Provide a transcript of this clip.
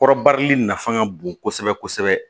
Kɔrɔbarili nafa ka bon kosɛbɛ kosɛbɛ